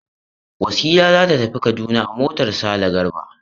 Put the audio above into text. Wasila za ta tafi Kaduna a motar Sale Garba.